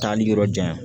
Taali yɔrɔ jan yan